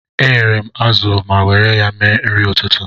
Eyere m azụ ma were ya mee nri ụtụtụ.